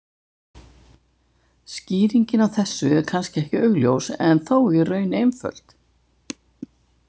Skýringin á þessu er kannski ekki augljós en þó í raun einföld.